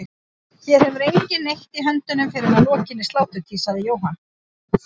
Hér hefur enginn neitt í höndunum fyrr en að lokinni sláturtíð, sagði Jóhann.